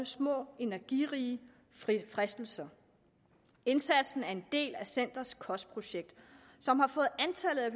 små energirige fristelser indsatsen er en del af centerets kostprojekt som har fået antallet af